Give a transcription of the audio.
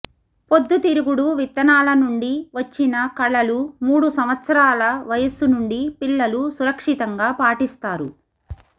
పొద్దుతిరుగుడు విత్తనాల నుండి వచ్చిన కళలు మూడు సంవత్సరాల వయస్సు నుండి పిల్లలు సురక్షితంగా పాటిస్తారు